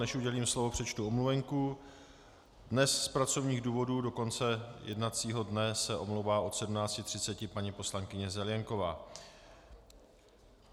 Než udělím slovo, přečtu omluvenku: dnes z pracovních důvodů do konce jednacího dne se omlouvá od 17.30 paní poslankyně Zelienková.